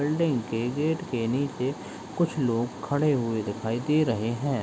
Building के gate के नीचे कुछ लोग खड़े हुए दिखाई दे रहे हैं।